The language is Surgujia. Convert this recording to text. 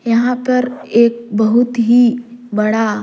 यहाँ पर एक बहुत ही बड़ा--